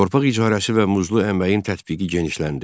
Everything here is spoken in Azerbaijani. Torpaq icarəsi və muzlu əməyin tətbiqi genişləndi.